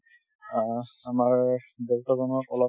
অ, আমাৰ দেউতা জনক অলপ